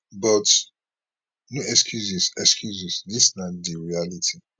but no excuses excuses dis na di reality